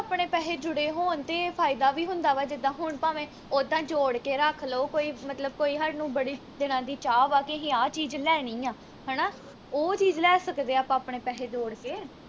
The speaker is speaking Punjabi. ਆਪਣੇ ਪੈਹੇ ਜੁੜੇ ਹੋਣ ਤੇ ਫਾਇਦਾ ਵੀ ਹੁੰਦਾ ਵਾ ਜਿੱਦਾ ਹੁਣ ਭਾਵੇ ਉੱਦਾਂ ਜੋੜ ਕੇ ਰੱਖ ਲੋ ਕੋਈ ਮਤਲਬ ਕੋਈ ਹਾਨੂੰ ਬੜੇ ਦਿਨਾਂ ਦੀ ਚਾਹ ਵਾ ਕਿ ਅਹੀ ਆਹ ਚੀਜ ਲੈਣੀ ਆ ਹਣਾ ਉਹ ਚੀਜ ਲੈ ਸਕਦੇ ਆਪਾ ਆਪਣੇ ਪੈਹੇ ਜੋੜ ਕੇ